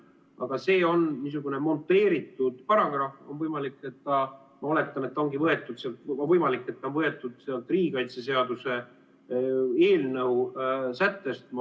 Aga see on niisugune monteeritud paragrahv, on võimalik, ma oletan, et ta ongi võetud riigikaitseseaduse eelnõu sättest.